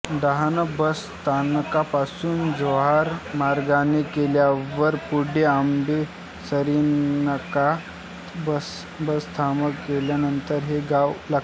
Dahanu bus स्थानकापासून जव्हार मार्गाने गेल्यावर पुढे आंबेसरीनाका बसथांबा गेल्यानंतर हे गाव लागते